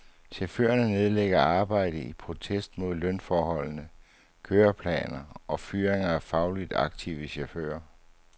Chaufførerne nedlægger arbejdet i protest mod arbejdsforholdene, køreplaner og fyringer af fagligt aktive chauffører.